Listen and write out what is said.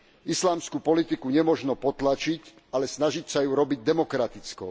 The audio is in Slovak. Islamskú politiku nemožno potlačiť, ale snažiť sa ju urobiť demokratickou.